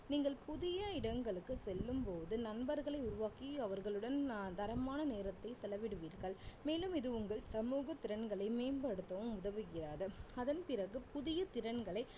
நீங்கள் புதிய இடங்களுக்கு செல்லும்போது நண்பர்களை உருவாக்கி அவர்களுடன் தரமான நேரத்தை செலவிடுவீர்கள் மேலும் இது உங்கள் சமூக திறன்களை மேம்படுத்தவும் உதவுகிறது அதன் பிறகு புதிய திறன்களை